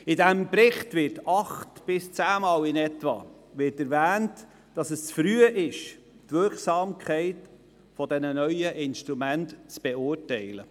In diesem Bericht wird rund acht- bis zehnmal erwähnt, es sei zu früh, die Wirksamkeit dieser neuen Instrumente zu beurteilen.